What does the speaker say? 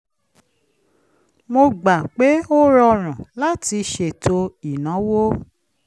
mo gbà pé ó rọrùn láti ṣètò ìnáwó